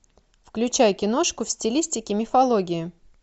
включай киношку в стилистике мифологии